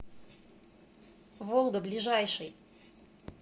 волга ближайший